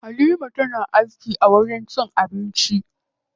Halima tana aiki a wajen cin abinci.